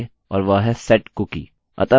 अतः हम कुकीcookie को पुनः तैयार कर रहे हैं